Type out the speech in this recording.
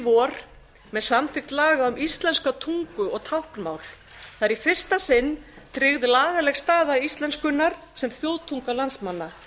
vor með samþykkt laga um íslenska tungu og táknmál það er í fyrsta sinn tryggð lagaleg staða íslenskunnar sem þjóðtunga landsmanna